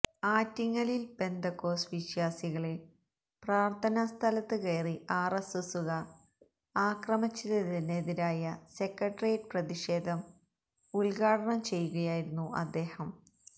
ആറ്റിങ്ങലില് Pentecost വിശ്വാസികളെ പ്രാര്ത്ഥനാ സ്ഥലത്ത് കയറി ആര്എസ്എസുകാര് ആക്രമിച്ചതിനെതിരായ സെക്രട്ടറിയറ്റ് പ്രതിഷേധം ഉദ്ഘാടനം ചെയ്യുകയായിരുന്നു അദ്ദേഹം